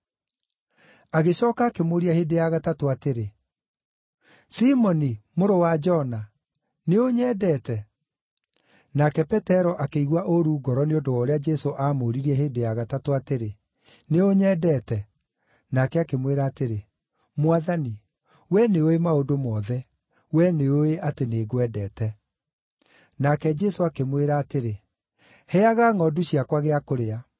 Agĩcooka akĩmũũria hĩndĩ ya gatatũ atĩrĩ, “Simoni mũrũ wa Jona, nĩũnyendete?” Nake Petero akĩigua ũũru ngoro nĩ ũndũ wa ũrĩa Jesũ aamũũririe hĩndĩ ya gatatũ atĩrĩ, “Nĩũnyendete?” Nake akĩmwĩra atĩrĩ, “Mwathani, wee nĩũũĩ maũndũ mothe; wee nĩũũĩ atĩ nĩngwendete.” Nake Jesũ akĩmwĩra atĩrĩ, “Heaga ngʼondu ciakwa gĩa kũrĩa.”